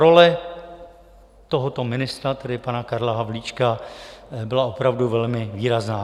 Role tohoto ministra, tedy pana Karla Havlíčka, byla opravdu velmi výrazná.